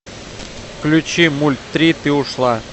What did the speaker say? включи мультри ты ушла